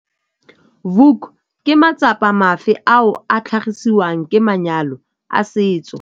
Vuk - Ke matsapa mafe ao a tlhagisiwang ke manyalo a setso?